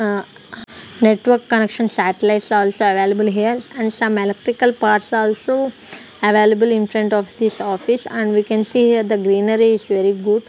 ah network connection satellites also available here and some electrical parts also available in front of this office and we can see here the greenery is very good.